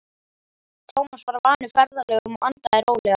Tómas var vanur ferðalögum og andaði rólega.